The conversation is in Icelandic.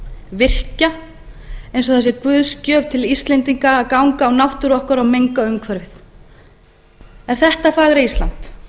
virkja eins og það sé guðsgjöf til íslendinga að ganga á náttúru okkar og menga umhverfið er þetta fagra ísland